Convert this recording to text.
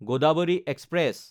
Godavari express